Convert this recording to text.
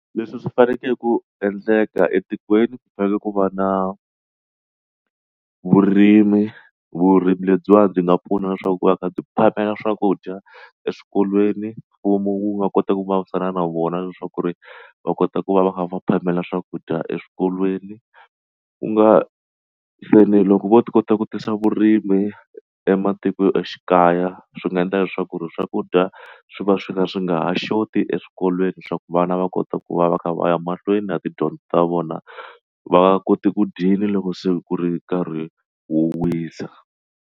Leswi swi fanekele ku endleka etikweni ku fanekele ku va na vurimi vurimi lebyiwa byi nga pfuna leswaku ku va ka byi phamela swakudya eswikolweni mfumo wu nga kota ku vulavurisana na vona leswaku ku ri va kota ku va va kha va phamela swakudya eswikolweni ku nga fane loko vo ti kota ku tisa vurimi ematikoxikaya swi nga endla leswaku ri swakudya swi va swi ka swi nga ha short ti eswikolweni swa ku vana va kota ku va va kha va ya mahlweni na tidyondzo ta vona va nga koti ku dyini loko se ku ri nkarhi wo wisa.